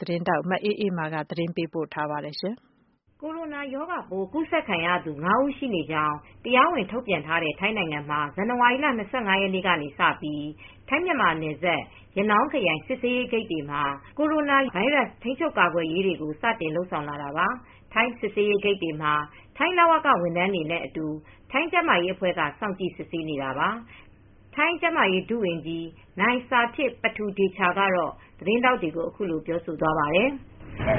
သတင်းထောက် မအေးအေးမာ တင်ပြပေးထားပါတယ်။ Corona ရောဂါပိုး ကူးစက်ခံရသူ ၅ ဦးရှိနေကြောင်း တရားဝင် ထုတ်ပြန်ထားတဲ့ ထိုင်းနိုင်ငံမှာ ဇန်နဝါရီလ ၂၅ ရက်နေ့ကစပြီး ထိုင်း-မြန်မာနယ်စပ် ရနောင်းခရိုင် စစ်ဆေးရေးဂိတ်တွေမှာ Corona ဗိုင်းရပ်စ် ထိန်းချုပ်ကာကွယ်ရေးတွေကို စတင်လုပ်ဆောင်လာတာပါ။ ထိုင်းစစ်ဆေးရေးဂိတ်တွေမှာ ထိုင်းလဝက ဝန်ထမ်းတွေနဲ့အတူ ထိုင်းကျန်းမာရေးအဖွဲ့က စောင့်ကြည့်စစ်ဆေးနေတာပါ။ ထိုင်းကျန်းမာရေး ဒုဝန်ကြီး နိုင်ဆာထစ်ပတူဒေချာကတော့ သတင်းထောက်တွေကို အခုလို ပြောသွားပါတယ်။ “ထိုင်း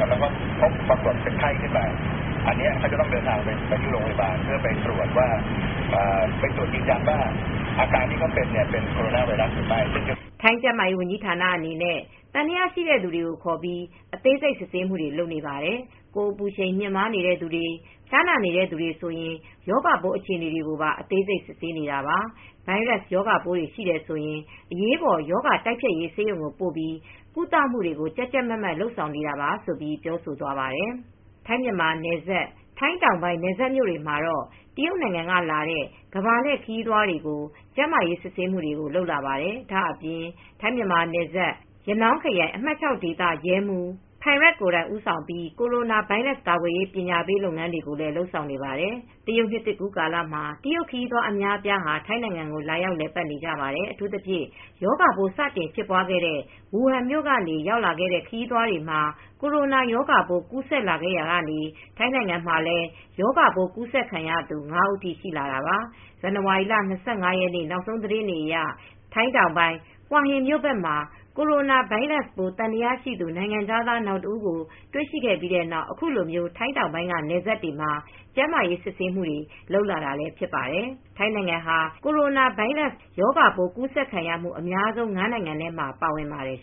ကျန်းမာရေးဝန်ကြီးဌာန အနေနဲ့ သံသယရှိတဲ့လူတွေကို ခေါ်ပြီး အသေးစိတ် စစ်ဆေးမှုတွေ လုပ်နေပါတယ်။ ကိုယ်အပူချိန် မြင့်တက်နေတဲ့သူ၊ ဖျားနာနေတဲ့သူ ဆိုရင် ရောဂါပိုးအခြေအနေကို အသေးစိတ် စစ်ဆေးနေတာပါ။ ဗိုင်းရပ်စ်ရောဂါပိုးတွေ ရှိတယ်ဆိုရင် အရေးပေါ် ရောဂါတိုက်ဖျက်ရေး ဆေးရုံကိုပို့ပြီး ကုသမှုတွေကို ကြပ်ကြပ်မတ်မတ် လုပ်ဆောင်နေပါတယ်။” ထိုင်း-မြန်မာနယ်စပ် ထိုင်းတောင်ပိုင်း နယ်စပ်မြို့တွေမှာတော့ တရုတ်နိုင်ငံကလာတဲ့ ကမ္ဘာလှည့်ခရီးသွားတွေကို ကျန်းမာရေးစစ်ဆေးမှုတွေ လုပ်လာပါတယ်။ ဒါ့အပြင် ထိုင်း-မြန်မာနယ်စပ်မှာ ရနောင်းခရိုင် အမှတ် ၆ ဒေသရဲမှူး Phairat Phukcharoen ကိုယ်တိုင် ဦးဆောင်ပြီး Corona ဗိုင်းရပ်စ် ကာကွယ်ရေး ပညာပေးလုပ်ငန်းတွေကို လုပ်ဆောင်နေပါတယ်။ တရုတ်နှစ်သစ်ကူးကာလမှာ တရုတ်ခရီးသွား အများအပြား ထိုင်းနိုင်ငံကို လာရောက် လည်ပတ်နေကြပါတယ်။ အထူးသဖြင့် ရောဂါပိုး စတင်ဖြစ်ပွားခဲ့တဲ့ ဝူဟန်မြို့ကနေ ရောက်လာတဲ့ ခရီးသွားတွေမှာ Corona ရောဂါပိုး ကူးဆက်လာရာကနေ ထိုင်းနိုင်ငံမှာလည်း ရောဂါပိုး ကူးစက်ခံရသူ ၅ ဦးထိ ရှိလာတာပါ။ ဇန်နဝါရီလ ၂၅ ရက်နေ့ နောက်ဆုံးသတင်းတွေအရ ထိုင်းတောင်ပိုင်း ဟွာဟင်မြို့ဘက်မှာ Corona ဗိုင်းရပ်စ်ပိုး သံသယရှိသူ နိုင်ငံခြားသား နောက်တဦး တွေ့ရှိခဲ့ပြီးတဲ့နောက် အခုလို ထိုင်းတောင်ပိုင်းက နယ်စပ်တွေမှာ ကျန်းမာရေးစစ်ဆေးမှုတွေ လုပ်လာတာဖြစ်ပါတယ်။ ထိုင်းနိုင်ငံဟာ Corona ဗိုင်းရပ်စ်ရောဂါပိုး ကူးဆက်ခံရမှု အများဆုံး ၅ နိုင်ငံမှာ ပါဝင်ပါတယ်